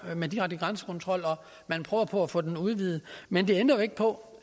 med direkte grænsekontrol og at man prøver på at få den udvidet men det ændrer ikke på